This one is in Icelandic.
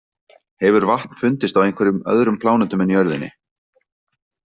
Hefur vatn fundist á einhverjum öðrum plánetum en jörðinni?